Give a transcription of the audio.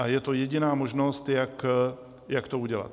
A je to jediná možnost, jak to udělat.